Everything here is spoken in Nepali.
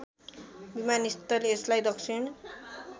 विमानस्थल यसलाई दक्षिण